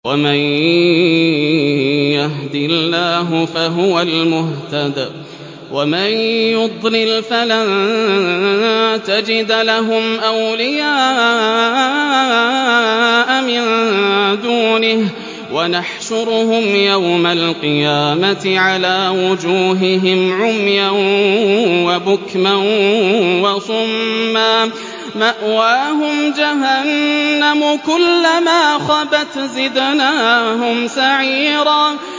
وَمَن يَهْدِ اللَّهُ فَهُوَ الْمُهْتَدِ ۖ وَمَن يُضْلِلْ فَلَن تَجِدَ لَهُمْ أَوْلِيَاءَ مِن دُونِهِ ۖ وَنَحْشُرُهُمْ يَوْمَ الْقِيَامَةِ عَلَىٰ وُجُوهِهِمْ عُمْيًا وَبُكْمًا وَصُمًّا ۖ مَّأْوَاهُمْ جَهَنَّمُ ۖ كُلَّمَا خَبَتْ زِدْنَاهُمْ سَعِيرًا